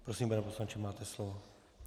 Prosím, pane poslanče, máte slovo.